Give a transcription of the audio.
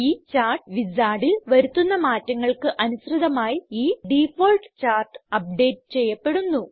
ഈ ചാർട്ട് Wizardൽ വരുത്തുന്ന മാറ്റങ്ങൾക്ക് അനുസൃതമായി ഈ ഡിഫാൾട്ട് ചാർട്ട് അപ്ഡേറ്റ് ചെയ്യപ്പെടുന്നു